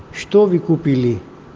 что вы купили